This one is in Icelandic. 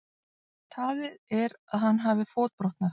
Talið er að hann hafi fótbrotnað